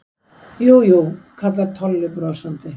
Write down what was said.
Jú, jú kallar Tolli brosandi.